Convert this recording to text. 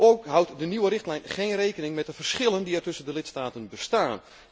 Ook houdt de nieuwe richtlijn geen rekening met de verschillen die er tussen de lidstaten bestaan.